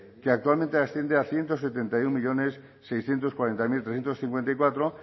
veinte que actualmente asciende a ciento setenta y uno millónes seiscientos cuarenta mil trescientos cincuenta y